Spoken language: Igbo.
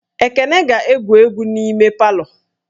Ekene ga-ege egwu n'ime palọ